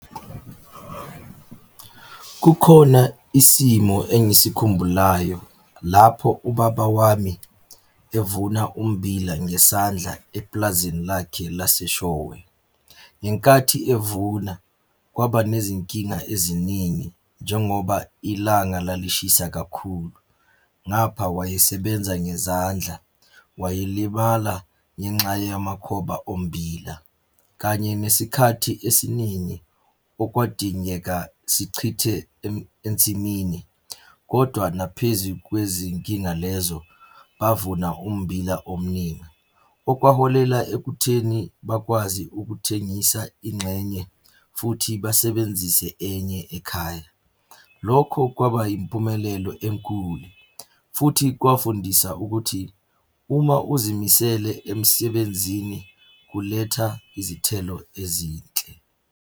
Kukhona isimo engisikhumbulayo lapho ubaba wami evuna ummbila ngesandla epulazini lakhe laseShowe. Ngenkathi evuna kwaba nezinkinga eziningi njengoba ilanga lalishisa kakhulu. Ngapha wayesebenza ngezandla, wayelibala ngenxa yamakhoba ommbila kanye nesikhathi esiningi okwadingeka sichithe ensimini, kodwa naphezu kwezinkinga lezo, bavuna ummbila omningi. Okwaholela ekutheni bakwazi ukuthengisa ingxenye, futhi basebenzise enye ekhaya. Lokho kwaba yimpumelelo enkulu, futhi kwafundisa ukuthi, uma uzimisele emsebenzini kuletha izithelo ezinhle.